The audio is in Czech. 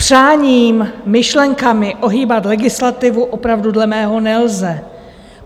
Přáním, myšlenkami ohýbat legislativu opravdu dle mého nelze.